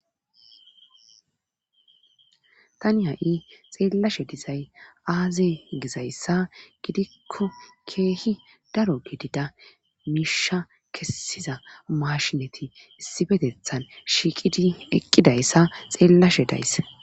tani ha7i xeellashe dizay aaze gizayssa gidikko keehi daro gidida miisha kessiza maashinati issifetethan shiiqidi eqqidayssa xeellashe days